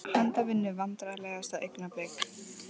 Handavinnu Vandræðalegasta augnablik?